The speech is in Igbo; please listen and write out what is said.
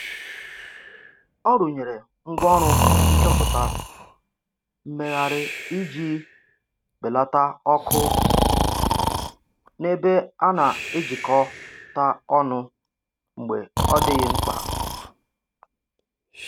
Ọ rụnyere ngwaọrụ nchọpụta mmegharị iji belata ọkụ n'ebe a na-ejikọta ọnụ mgbe ọ dịghị mkpa